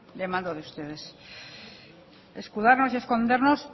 demando de ustedes escudarnos y escondernos